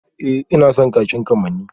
Ee ina son kakin kamanni